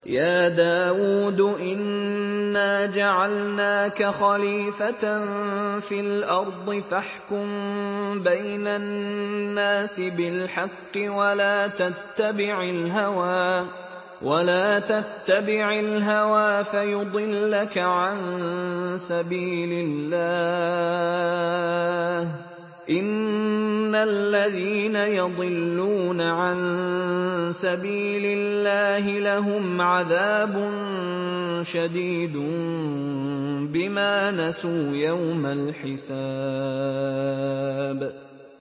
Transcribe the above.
يَا دَاوُودُ إِنَّا جَعَلْنَاكَ خَلِيفَةً فِي الْأَرْضِ فَاحْكُم بَيْنَ النَّاسِ بِالْحَقِّ وَلَا تَتَّبِعِ الْهَوَىٰ فَيُضِلَّكَ عَن سَبِيلِ اللَّهِ ۚ إِنَّ الَّذِينَ يَضِلُّونَ عَن سَبِيلِ اللَّهِ لَهُمْ عَذَابٌ شَدِيدٌ بِمَا نَسُوا يَوْمَ الْحِسَابِ